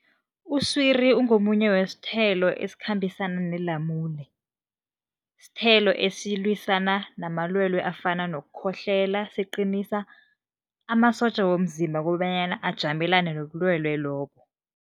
Uswiri ungomunye wesithelo esikhambisana nelamule. Sithelo esilwisana namalwelwe afana nokukhohlela, siqinisa amasotja womzimba kobanyana ajamelane nobulwelwe lobo.